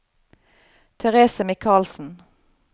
Therese Michaelsen